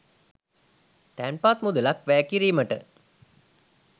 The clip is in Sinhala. තැන්පත් මුදලක් වැය කිරීමට